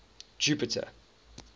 jupiter